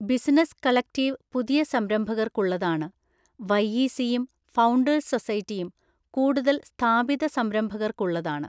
Business collective പുതിയ സംരംഭകർക്കുള്ളതാണ്, വൈഇസിയും ഫൌണ്ടേഴ്സ് സൊസൈറ്റിയും കൂടുതൽ സ്ഥാപിത സംരംഭകർക്കുള്ളതാണ്.